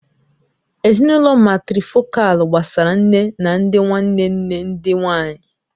Ezinụlọ màtrịfọ̀kal gbasara nne na ndị nwanne nne ndị nwanyị